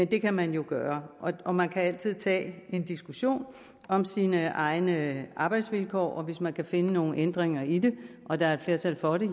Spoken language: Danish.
det kan man jo gøre og man kan altid tage en diskussion om sine egne arbejdsvilkår og hvis man kan finde nogle ændringer i det og der er et flertal for det